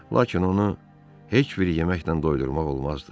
Lakin onu heç bir yeməklə doyurmaq olmazdı.